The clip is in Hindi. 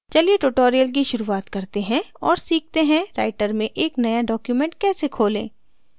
चलिए tutorial की शुरुआत करते हैं और सीखते हैं writer में एक now document कैसे खोलें